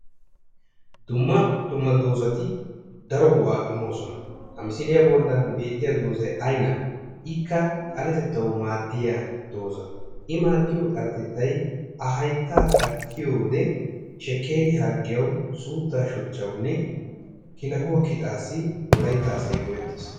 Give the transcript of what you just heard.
Dumma dumma doozzati daro go'aa immoosona. Ha misiliya bollan beetiya doozay aynnaa ikkaa xaletettawu maaddiya dooza. I maaddiyo xaletettay a hayttaa kattiyo wode shekkeeriya harggiyawu suuttaa shochchawunne kilahuwa kixxaassi wolaytta asay go'ettees.